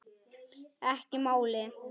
Ekki málið!